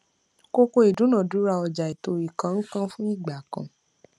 kókó ìdúnadúrà ọjà ètò ìkónǹkanfún igbà kan